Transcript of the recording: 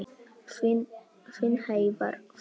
Þinn Heiðar Þór.